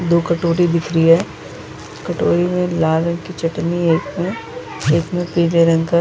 दो कोटोरी दिख रही है कोटोरी में लाल रंग की चटनी है एक में एक में पीले रंग का --